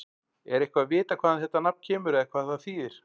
Er eitthvað vitað hvaðan þetta nafn kemur eða hvað það þýðir?